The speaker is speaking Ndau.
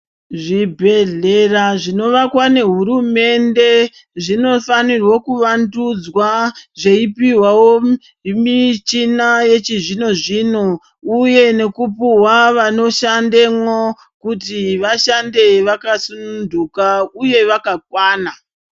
Zvibhedhlera zvinovakwa nehurumende, zvinofanirwe kuvandudzwa, zveipihwawo zvimichina yechizvino-zvino, uye nekupuhwa vanoshandemwo kuti vashande vakasununtuka, uye vashande vakakwana.